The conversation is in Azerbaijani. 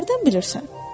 Sən hardan bilirsən?